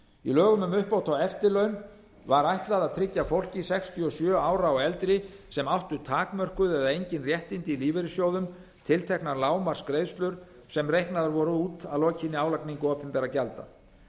í lögum um uppbót á eftirlaun var ætlað að tryggja fólki sextíu og sjö ára og eldra sem áttu takmörkuð eða engin réttindi í lífeyrissjóðum tilteknar lágmarksgreiðslur sem reiknaðar voru út að lokinni álagningu opinberra gjalda